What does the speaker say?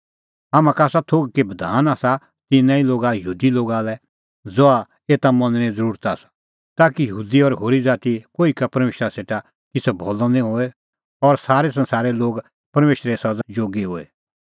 हाम्हां का आसा थोघ कि बधान आसा तिन्नां ई लोगा यहूदी लोगा लै ज़हा एता मनणें ज़रुरत आसा ताकि यहूदी और होरी ज़ाती कोही का परमेशरा सेटा किछ़ै भान्नअ निं होए और सारै संसारे लोग परमेशरे सज़ा जोगी होए